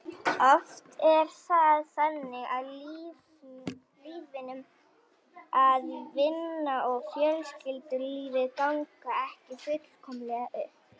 Oft er það þannig í lífinu að vinna og fjölskyldulíf ganga ekki fullkomlega upp.